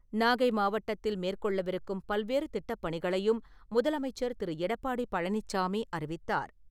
நாகை மாவட்டத்தில் மேற்கொள்ளவிருக்கும் பல்வேறு திட்டப்பணிகளையும் முதலமைச்சர் திரு. எடப்பாடி பழனிச்சாமி அறிவித்தார்.